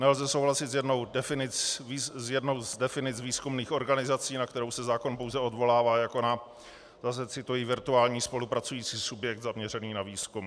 Nelze souhlasit s jednou z definic výzkumných organizací, na kterou se zákon pouze odvolává jako na - zase cituji - "virtuální spolupracující subjekt zaměřený na výzkum".